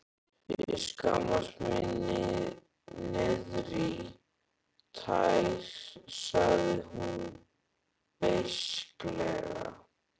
Ég skammast mín niðrí tær, sagði hún beisklega.